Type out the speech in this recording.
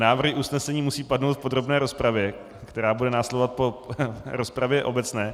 Návrhy usnesení musí padnout v podrobné rozpravě, která bude následovat po rozpravě obecné.